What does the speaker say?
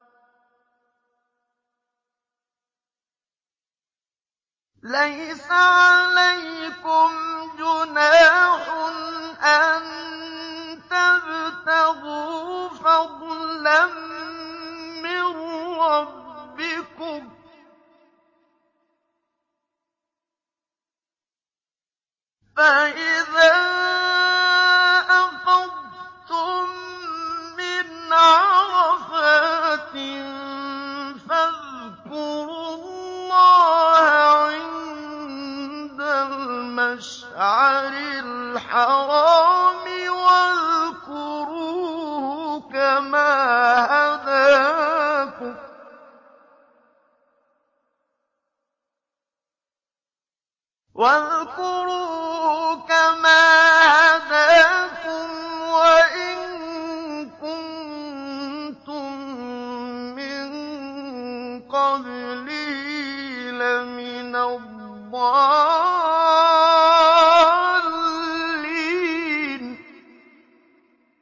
لَيْسَ عَلَيْكُمْ جُنَاحٌ أَن تَبْتَغُوا فَضْلًا مِّن رَّبِّكُمْ ۚ فَإِذَا أَفَضْتُم مِّنْ عَرَفَاتٍ فَاذْكُرُوا اللَّهَ عِندَ الْمَشْعَرِ الْحَرَامِ ۖ وَاذْكُرُوهُ كَمَا هَدَاكُمْ وَإِن كُنتُم مِّن قَبْلِهِ لَمِنَ الضَّالِّينَ